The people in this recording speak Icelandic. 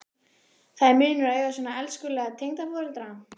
Það er munur að eiga svona elskulega tengdaforeldra.